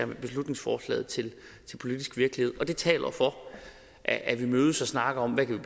med beslutningsforslaget til politisk virkelighed det taler for at vi mødes og snakker om hvad vi